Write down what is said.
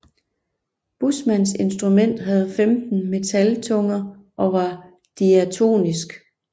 Buschmanns instrument havde 15 metaltunger og var diatonisk